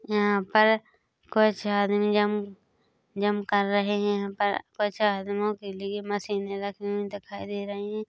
यहाँ पर कुछ आदमी जम्प जम्प कर रहैं हैं यहाँ पर कुछ आदमियों के लिए मशीनें रखी हुई दिखाई दे रही हैं।